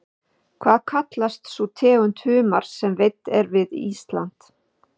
Hvað kallast sú tegund humars sem veidd er við Ísland?